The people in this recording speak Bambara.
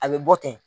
A bɛ bɔ ten